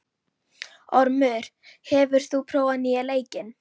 Ormur, hefur þú prófað nýja leikinn?